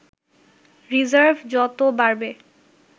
reserve যত বাড়বে